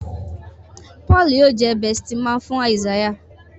Paul yíò jé besti man fún Isaiah